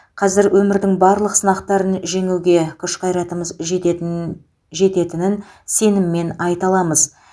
қазір өмірдің барлық сынақтарын жеңуге күш қайратымыз жететін жететінін сеніммен айта аламыз